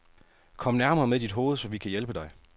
Kom nærmere med dit hoved, så vi kan hjælpe dig.